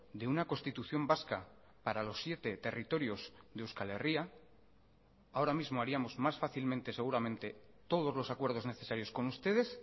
de una constitución vasca para los siete territorios de euskal herria ahora mismo haríamos más fácilmente seguramente todos los acuerdos necesarios con ustedes